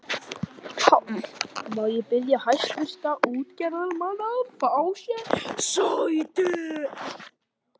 PÁLL: Má ég biðja hæstvirta útgerðarmenn að fá sér sæti.